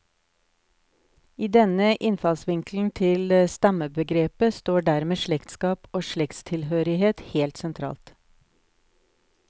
I denne innfallsvinkelen til stammebegrepet står dermed slektskap og slektstilhørighet helt sentralt.